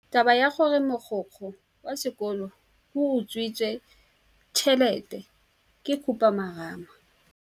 Taba ya gore mogokgo wa sekolo o utswitse tšhelete ke khupamarama.